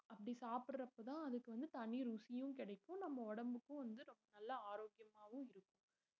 அப்படி சாப்பிடுறப்பதான் அதுக்கு வந்து தனி ருசியும் கிடைக்கும் நம்ம உடம்புக்கும் வந்து ரொம்ப நல்ல ஆரோக்கியமாவும் இருக்கும்